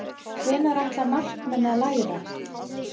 Hvenær ætla markmenn að læra?